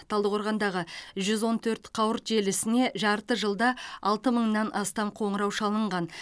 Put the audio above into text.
талдықорғандағы жүз он төрт қауырт желісіне жарты жылда алты мыңнан астам қоңырау шалынған